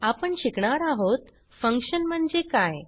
आपण शिकणार आहोत फंक्शन म्हणजे काय